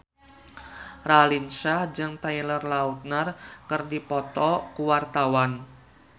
Raline Shah jeung Taylor Lautner keur dipoto ku wartawan